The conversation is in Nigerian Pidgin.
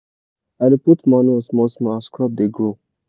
i dey put manure small small as crop dey grow.